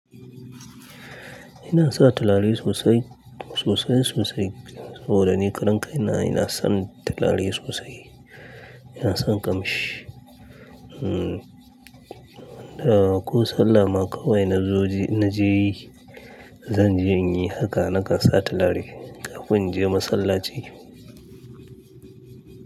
Ina sa turare sosai, sosai sosai. Saboda ni karan kai na ina son turare sosai. Ina son kamshi. Ko sallah ma kawai na zo je-- na je yi, zan je in yi haka nakan sa turare kafin in je masallaci.